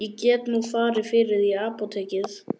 Ég get nú farið fyrir þig í apótekið.